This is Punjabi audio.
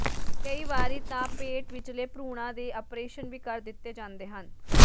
ਕਈ ਵਾਰੀ ਤਾਂ ਪੇਟ ਵਿਚਲੇ ਭਰੂਣਾਂ ਦੇ ਅਪ੍ਰੇਸ਼ਨ ਵੀ ਕਰ ਦਿੱਤੇ ਜਾਂਦੇ ਹਨ